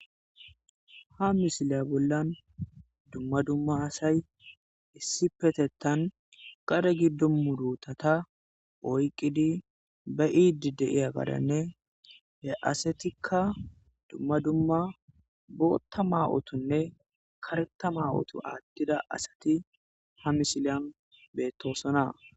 Ha misiliya bollan dumma dumma asay issippetheththan gade giddo muruthatha oyqqidi be7iiddi de7iyaagaaranne he asethikka dumma dumma booththa maa7othunne kareththa maa7othu aaththida asathi ha misiliyan beththoosona.